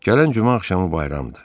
Gələn cümə axşamı bayramdır.